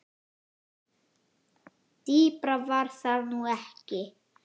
Dýpra var það nú ekki.